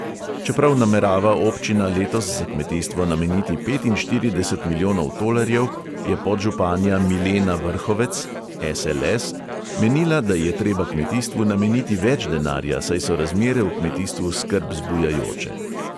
Čeprav namerava občina letos za kmetijstvo nameniti petinštirideset milijonov tolarjev, je podžupanja milena vrhovec menila, da je treba kmetijstvu nameniti več denarja, saj so razmere v kmetijstvu skrb zbujajoče.